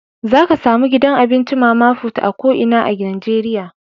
Za ka samu gidan abinci mama put a ko inan Nijeriya.